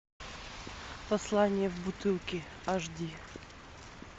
послание в бутылке аш ди